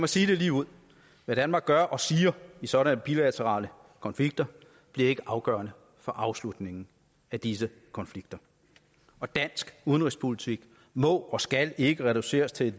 sige det ligeud hvad danmark gør og siger i sådanne bilaterale konflikter bliver ikke afgørende for afslutningen af disse konflikter og dansk udenrigspolitik må og skal ikke reduceres til